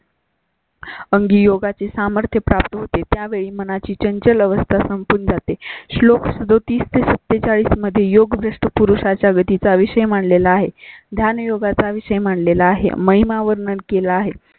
अंगी योगाचे सामर्थ्य प्राप्त होते. त्या वेळी मनाची चंचलता अवस्था संपून जाते. श्लोक सदोतीस ते सत्तेचाळीस मध्ये योग व्यस्त पुरुषा च्या गती चा विषय मांडलेला आहे. ध्यानयोगाचा विषय मांडलेलं आहे. महिमा वर्णन केला आहे